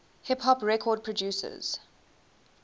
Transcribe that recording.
hip hop record producers